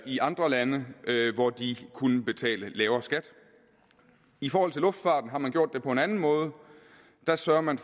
i andre lande hvor de kunne betale lavere skat i forhold til luftfarten har man gjort det på en anden måde der sørger man